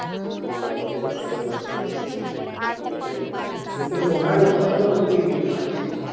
हो आता ते सप्रेसरच बघतोय मी